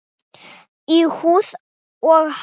Í húð og hár.